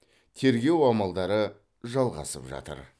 тергеу амалдары жалғасып жатыр